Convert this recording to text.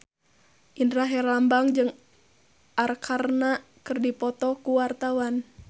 Indra Herlambang jeung Arkarna keur dipoto ku wartawan